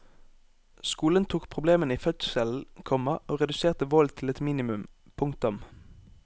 Skolen tok problemene i fødselen, komma og reduserte volden til et minimum. punktum